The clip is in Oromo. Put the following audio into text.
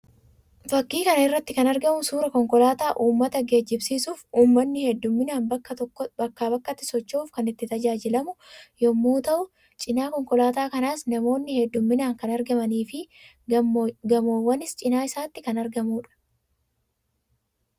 Fakkii kan irratti kan argamu suuraa konkolaataa uummata geejjibsiisuuf uummanni hedduminaan bakkaa bakkatti socho'uuf kan itti tajaajilamu yammuu ta'u; cina konkolaataa kanaas namoonni hedduminaan kan argamanii fi gammoowwanis cina isaatti kan argamuudha.